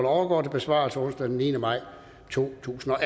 overgår til besvarelse onsdag den niende maj to tusind og